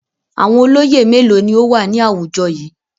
Àwọn olóyè mélòó ni ó wà ní àwùjọ yìí?